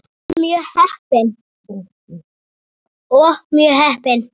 Og mjög heppin!